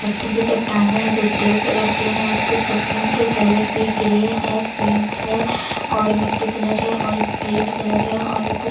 पत्थर की चट्टानें है जो ग्रे कलर के है उसके जमीन के कलर भी ग्रे है पिंक है और मिटटी कलर हैं और ग्रीन कलर है और कुछ --